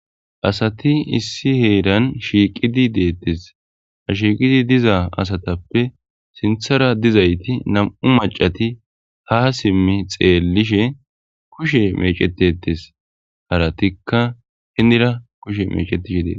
asati issi heeran shiiqidi deettes ha shiiqidi diza asatappe sinthara dizayti nam7u macati ha simmi xeellishe kushe mecetetes haratikka hindira kushe mecetishe deet